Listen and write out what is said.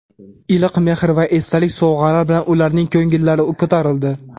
iliq mehr va esdalik sovg‘alar bilan ularning ko‘ngillari ko‘tarildi.